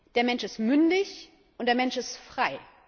Der Mensch ist mündig, und der Mensch ist frei.